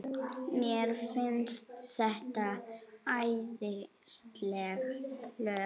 Mér finnst þetta æðisleg lög.